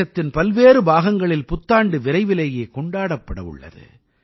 தேசத்தின் பல்வேறு பாகங்களில் புத்தாண்டு விரைவிலேயே கொண்டாடப்பட உள்ளது